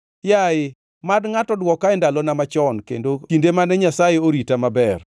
“Yaye, mad ngʼato dwoka e ndalona machon kendo kinde mane Nyasaye orita maber,